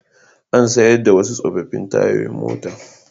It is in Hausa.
An sayar da wasu tsofaffin tayoyin mota